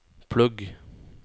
plugg